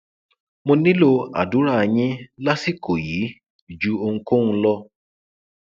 mo nílò àdúrà yín lásìkò yìí ju ohunkóhun lọ